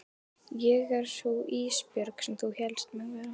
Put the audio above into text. Ég er sú Ísbjörg sem þú hélst mig vera.